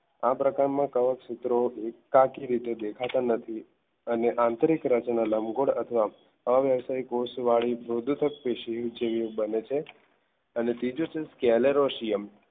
આ પ્રકારના કવચ સૂત્રો સરખી રીતે દેખાતા નથી અને આંતરિક રચના લંબગોળ અથવા વ્યવસાય કોષ વાળી મૃદુત કે શિવ જેવી બને છે અને ત્રીજું છે scaller